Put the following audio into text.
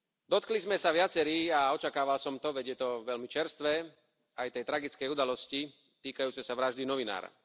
Dotkli sme sa viacerí a očakávala som to, veď je to veľmi čerstvé aj tej tragickej udalosti týkajúcej sa vraždy novinára.